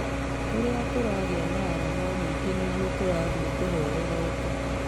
Ũrĩa tũragĩa arama nyingĩ nĩguo tũrathie tũhorerete."